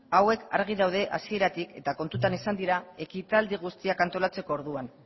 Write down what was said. hauek argi daude hasieratik eta kontutan izan dira ekitaldi guztiak antolatzeko orduan